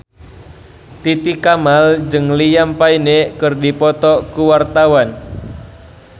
Titi Kamal jeung Liam Payne keur dipoto ku wartawan